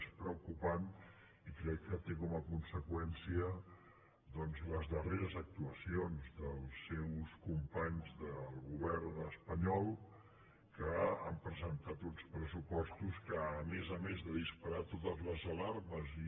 és preocupant i crec que té com a conseqüència doncs les darreres actuacions dels seus companys del govern espanyol que han presentat uns pressupostos que a més a més de disparar totes les alarmes i